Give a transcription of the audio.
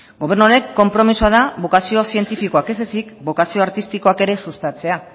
gobernu honen konpromisoa da bokazio zientifikoak ez ezik bokazio artistikoak ere sustatzea